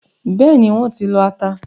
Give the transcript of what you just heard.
Bẹ́ẹ̀ni, wọ́n ti lọ ata.